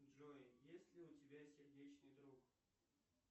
джой есть ли у тебя сердечный друг